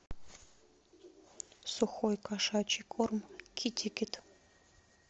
сухой кошачий корм китикет